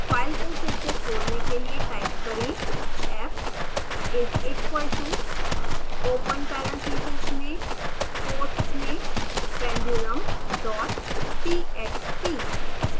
file को फिर से खोलने के लिए टाइप करें